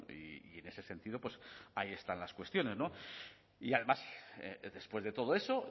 y en ese sentido pues ahí están las cuestiones y además después de todo eso